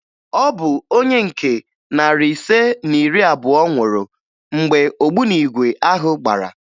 Ọ bụ onye nke narị ise na iri abụọ nwụrụ mgbe ogbunigwe ahụ gbara